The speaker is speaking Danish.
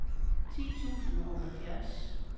ti tusind og halvfjerds